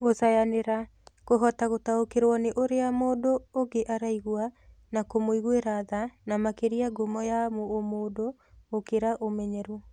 Gũcayanĩra: Kũhota gũtaũkĩrũo nĩ ũrĩa mũndũ ũngĩ araigua na kũmũiguĩra tha nĩ makĩria ngumo ya ũmũndũ gũkĩra ũmenyeru.